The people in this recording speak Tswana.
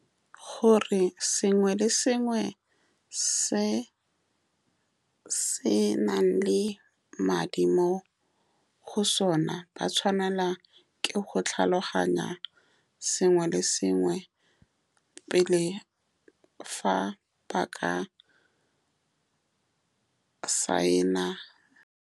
Gore sengwe le sengwe se se nang le madi mo go sone. Ba tshwanelwa ke go tlhaloganya sengwe le sengwe pele, fa ba ka sign-a.